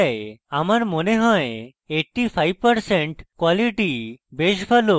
আমার মনে হয় যে 85% quality বেশ ভালো